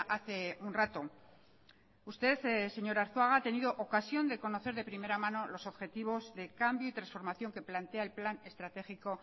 hace un rato usted señor arzuaga ha tenido ocasión de conocer de primera manos los objetivos de cambio y transformación que plantea el plan estratégico